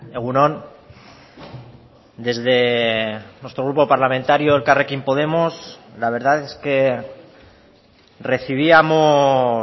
egun on desde nuestro grupo parlamentario elkarrekin podemos la verdad es que recibíamos